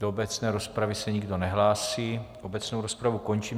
Do obecné rozpravy se nikdo nehlásí, obecnou rozpravu končím.